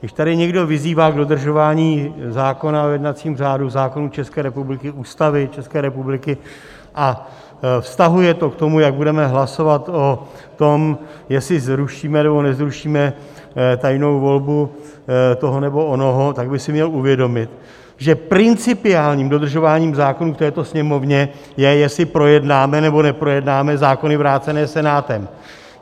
Když tady někdo vyzývá k dodržování zákona o jednacím řádu, zákona České republiky, Ústavy České republiky a vztahuje to k tomu, jak budeme hlasovat o tom, jestli zrušíme, nebo nezrušíme tajnou volbu toho nebo onoho, tak by si měl uvědomit, že principiálním dodržováním zákona v této Sněmovně je, jestli projednáme nebo neprojednáme zákony vrácené Senátem.